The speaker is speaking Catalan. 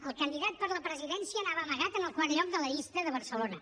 el candidat a la presidència anava amagat en el quart lloc de la llista de barcelona